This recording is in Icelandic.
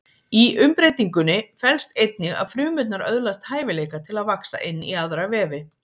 Í umbreytingunni felst einnig að frumurnar öðlast hæfileika til að vaxa inn í aðra vefi.